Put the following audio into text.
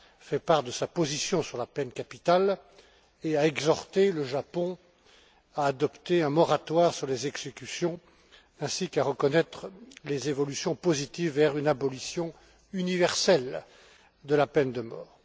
fait part de sa position sur la peine capitale et a exhorté le Japon à adopter un moratoire sur les exécutions, ainsi qu'à reconnaître les évolutions positives vers une abolition universelle de la peine de mort.